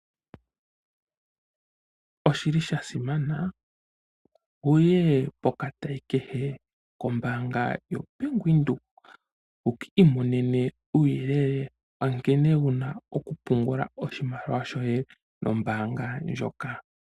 Oshili shasimana wuye po katayi kehe kombanga yo Bank Windhoek wuki monene uuyelele wa nkene wuna okupungula oshimaliwa shoye no mbaanga ndjoka.